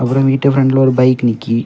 அப்புறம் வீட்டு பிரண்ட்ல ஒரு பைக் நிக்கி.